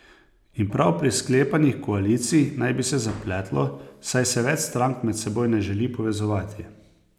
In prav pri sklepanjih koalicij naj bi se zapletlo, saj se več strank med seboj ne želi povezovati.